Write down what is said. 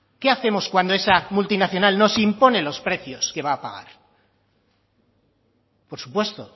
qué hacemos cuando esa multinacional nos impone los precios que va a pagar por supuesto